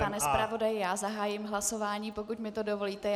Pane zpravodaji, já zahájím hlasování, pokud mi to dovolíte.